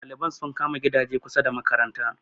ɗaliban sun kama gidaje kusa da makaranta